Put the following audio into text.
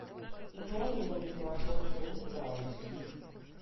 идеальные незнакомцы ультра айч ди